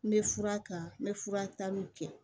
N bɛ fura ta n bɛ fura taliw kɛ